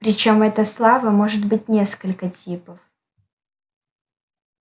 причём эта слава может быть несколько типов